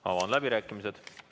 Avan läbirääkimised.